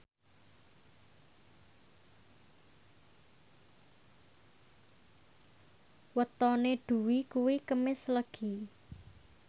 wetone Dwi kuwi Kemis Legi